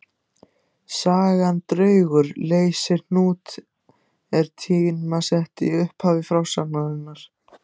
Sagan Draugur leysir hnút er tímasett í upphafi frásagnarinnar.